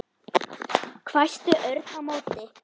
hvæsti Örn á móti.